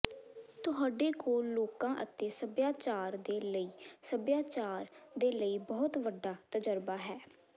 ਤੁਹਾਡੇ ਕੋਲ ਲੋਕਾਂ ਅਤੇ ਸਭਿਆਚਾਰ ਦੇ ਲਈ ਸਭਿਆਚਾਰ ਦੇ ਲਈ ਬਹੁਤ ਵੱਡਾ ਤਜਰਬਾ ਹੈ